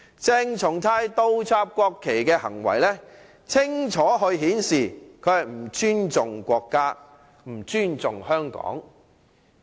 鄭松泰倒插國旗的行為清楚顯示，他不尊重國家和香港。